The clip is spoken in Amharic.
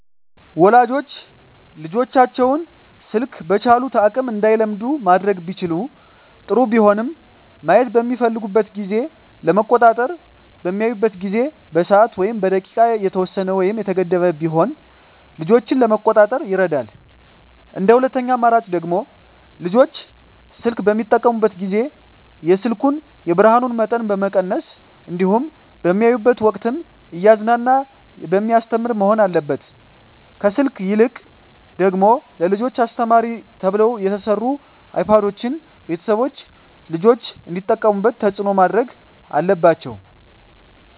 ወላጆች ልጆቻቸውን ስልክ በቻሉት አቅም እንዳይለምዱ ማድረግ ቢችሉ ጥሩ ቢሆንም ማየት በሚፈልጉበት ጊዜ ለመቆጣጠር በሚያዩበት ጊዜ በሰዓት ወይም በደቂቃ የተወሰነ ወይም የተገደበ ቢሆን ልጆችን ለመቆጣጠር ይረዳል እንደ ሁለተኛ አማራጭ ደግሞ ልጆች ስልክ በሚጠቀሙበት ጊዜ የስልኩን የብርሀኑን መጠን መቀነስ እንዲሁም በሚያዩበት ወቅትም እያዝናና በሚያስተምር መሆን አለበት ከስልክ ይልቅ ደግሞ ለልጆች አስተማሪ ተብለው የተሰሩ አይፓዶችን ቤተሰቦች ልጆች እንዲጠቀሙት ተፅዕኖ ማድረግ አለባቸው።